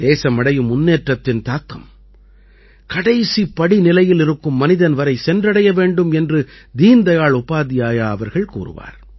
தேசம் அடையும் முன்னேற்றத்தின் தாக்கம் கடைசிப் படிநிலையில் இருக்கும் மனிதன் வரை சென்றடைய வேண்டும் என்று தீன்தயாள் உபாத்யாயா அவர்கள் கூறுவார்